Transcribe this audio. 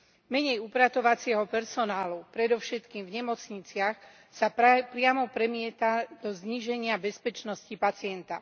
Menej upratovacieho personálu predovšetkým v nemocniciach sa priamo premieta do zníženia bezpečnosti pacienta.